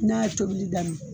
N'a ye tobili daminɛ